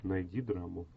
найди драму